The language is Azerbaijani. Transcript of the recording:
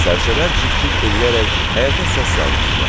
Sərçələr cik-cik eləyərək həyətə səs salmışdılar.